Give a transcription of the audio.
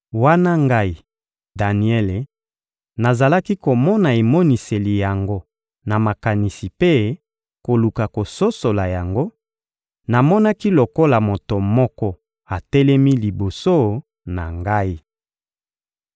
Wana ngai, Daniele, nazalaki komona emoniseli yango na makanisi mpe koluka kososola yango, namonaki lokola moto moko atelemi liboso na ngai.